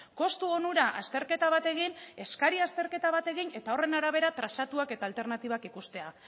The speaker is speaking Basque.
kostu onura azterketa bat egin eskari azterketa bat egin eta horren arabera trazatuak eta alternatibak ikustea